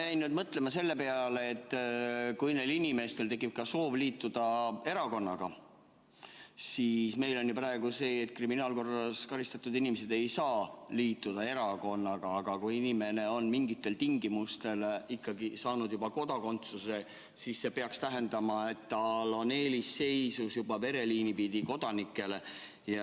Ma jäin mõtlema selle peale, et kui neil inimestel tekib soov liituda erakonnaga, siis meil on ju praegu sedasi, et kriminaalkorras karistatud inimesed ei saa liituda erakonnaga, aga kui inimene on mingitel tingimustel ikkagi saanud juba kodakondsuse, siis see peaks tähendama, et ta on eelisseisus vereliini pidi kodanike ees.